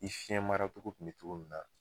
I fiɲɛ mara togo tun mɛ togo min na